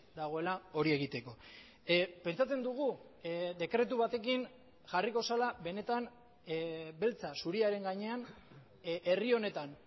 dagoela hori egiteko pentsatzen dugu dekretu batekin jarriko zela benetan beltza zuriaren gainean herri honetan